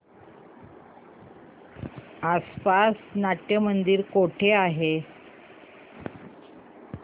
आसपास नाट्यमंदिर कुठे आहे